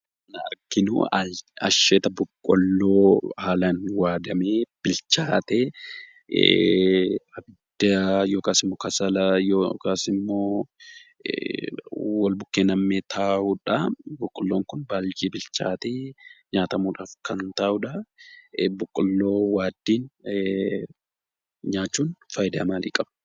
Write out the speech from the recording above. Asirraa kan arginu asheeta boqqoolloo haalaan waadamee bilchaatee kasala walbukkee nam'ee taa'udha. Boqqoolloon kun baay'ee bilchaatee nyaatamuudhaaf kan taa'uudha. Boqqoolloo waaddii nyaachuun faayidaa maalii qaba?